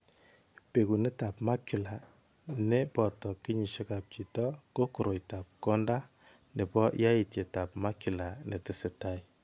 Bekunetab Macular ne boto kenyishekab chito ko koroitoab konda nebo yaitietab macular ne tesetai.